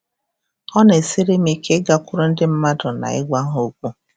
Ọ na-esiri m ike ịgakwuru ndị mmadụ na ịgwa ha okwu.”